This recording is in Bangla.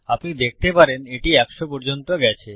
আপনি দেখতে পারেন এটি একশ পর্যন্ত গেছে